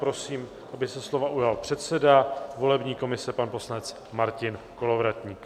Prosím, aby se slova ujal předseda volební komise, pan poslanec Martin Kolovratník.